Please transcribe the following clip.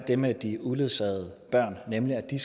det med de uledsagede børn nemlig at de